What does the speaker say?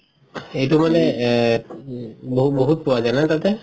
সেইটো মানে এ বহু বহুত পোৱা যাই ন তাতে